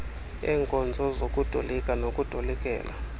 eenkonzo zokutolika nokutolikela